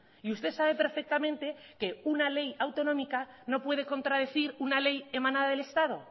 y usted sabe perfectamente que una ley autonómica no puede contradecir una ley emanada del estado